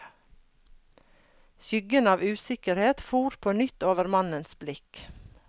Skyggen av usikkerhet for på nytt over mannens blikk.